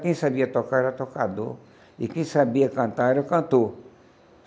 Quem sabia tocar era tocador, e quem sabia cantar era cantor.